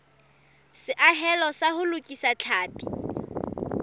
seahelo sa ho lokisa tlhapi